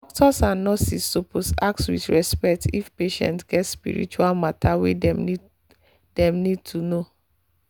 doctors and nurses suppose ask with respect if patient get spiritual matter wey dem need to dem need to know.